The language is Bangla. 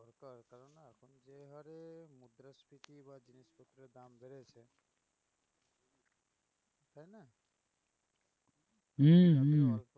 হম হম